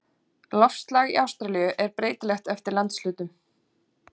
Loftslag í Ástralíu er breytilegt eftir landshlutum.